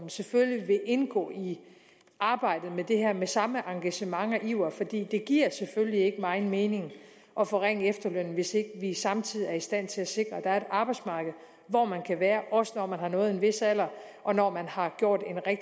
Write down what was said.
selvfølgelig vil indgå i arbejdet med det her med samme engagement og iver for det giver selvfølgelig ikke megen mening at forringe efterlønnen hvis ikke vi samtidig er i stand til at sikre at der er arbejdsmarked hvor man kan være også når man har nået en vis alder og når man har gjort